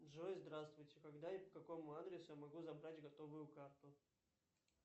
джой здравствуйте когда и по какому адресу я могу забрать готовую карту